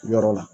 Yɔrɔ la